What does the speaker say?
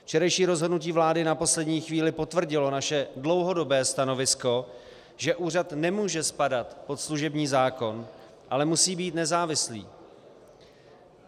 Včerejší rozhodnutí vlády na poslední chvíli potvrdilo naše dlouhodobé stanovisko, že úřad nemůže spadat pod služební zákon, ale musí být nezávislý.